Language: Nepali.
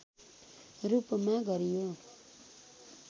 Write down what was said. रूपमा गरियो